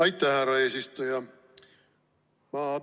Aitäh, härra eesistuja!